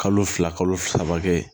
Kalo fila kalo saba kɛ